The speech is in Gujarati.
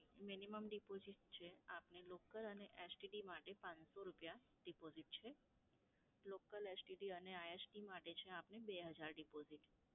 minimum deposit છે આપની local અને STD માટે પાંચસો રૂપિયા deposit છે. local, STD અને ISD માટે છે આપને બે હજાર રૂપિયા deposit.